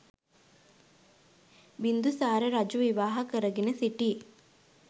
බින්දුසාර රජු විවාහ කරගෙන සිටි